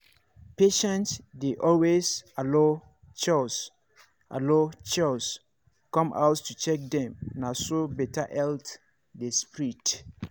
patients dey always allow chws allow chws come house to check dem na so better health dey spread.